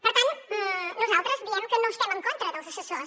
per tant nosaltres diem que no estem en contra dels assessors